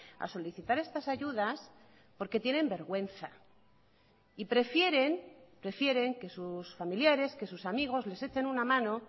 a solicitar estas ayudas porque tienen vergüenza y prefieren prefieren que sus familiares que sus amigos les echen una mano